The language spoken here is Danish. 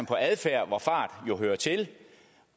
på adfærd hvor fart jo hører til